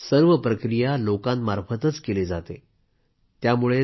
आज मात्र सर्व प्रक्रिया लोकांमार्फतच केली जाते